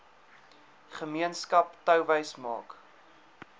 gemeenskap touwys maak